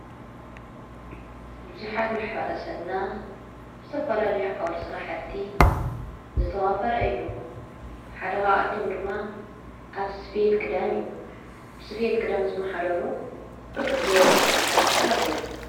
ብዙኃት ማኅበረ ሰብና ብዝተፈላልዮ ዓውደ ሥራሕቲ ዝተዋፈረ እዩ ሓደኻኣቶም ድማ ኣብ ስፍየት ግዳን እዩ ብስፊየት ክዳን ዝመሓዶሩ ብርክት ዝወሉ ሕረተሰብ ኣለዉ።